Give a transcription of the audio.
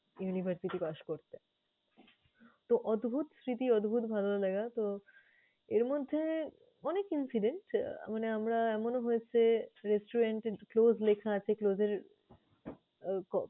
university পাশ করতে। তো অদ্ভুত স্মৃতি, অদ্ভুত ভালো লাগা। তো এরমধ্যে অনেক incidence আহ মানে আমরা এমনও হয়েছে restaurant এ closed লেখা আছে, close এর আহ